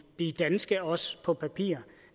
danske også på papiret